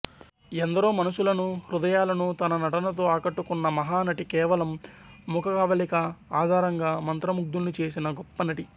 ఎందరో మనసులనుహృదయాలను తన నటనతో ఆకట్టుకున్న మహా నటి కేవలం ముఖ కవళికల ఆధారంగా మంత్రముగ్ధుల్ని చేసిన గొప్ప నటి